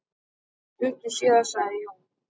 Stuttu síðar sagði Jón